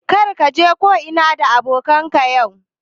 Kar ka je ko'ina da abokanan ka yau